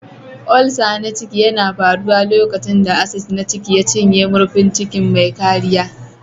Ulcer na ciki yana faruwa lokacin da acid na ciki ya cinye murfin ciki mai kariya.